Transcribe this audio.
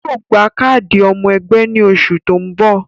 Yóò gba káàdì ọmọ ẹgbẹ́ ní oṣù tó ń bò